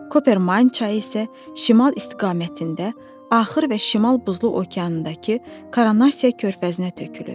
Kopermayn çayı isə şimal istiqamətində axır və şimal buzlu okeanındakı Koronasiya körfəzinə tökülür.